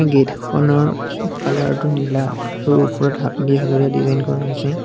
Gate খনৰ colour টো নীলা আৰু ওপৰত হালধীয়া হালধীয়া ডিজাইন কৰা হৈছে।